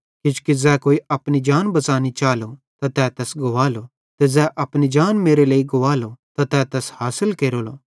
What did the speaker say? किजोकि ज़ै कोई अपनी जान बच़ानी चालो त तै तैस गुवालो ते ज़ै अपनी जान मेरे लेइ गुवालो त तै तैस हासिल केरेलो